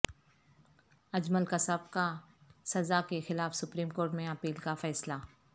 اجمل قصاب کا سزا کے خلاف سپریم کورٹ میں اپیل کا فیصلہ